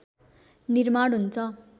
निर्माण हुन्छ